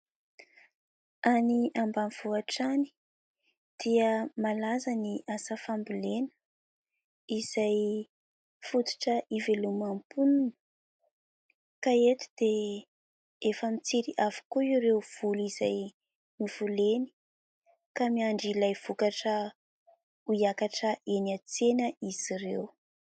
Any ambanivohitra any dia malaza ny asa fambolena, izay fototra iveloman'ny mponina. Ka eto dia efa mitsiry avokoa ireo voly izay novoleny, ka miandry ilay vokatra ho hiakatra eny an-tsena izy ireo.